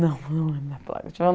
Não, não lembro da placa. Tinha